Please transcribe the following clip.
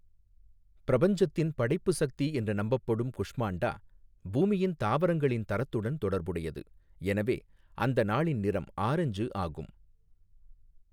பிரபஞ்சத்தின் படைப்பு சக்தி என்று நம்பப்படும் குஷ்மாண்டா பூமியின் தாவரங்களின் தரத்துடன் தொடர்புடையது, எனவே, அந்த நாளின் நிறம் ஆரஞ்சு ஆகும்.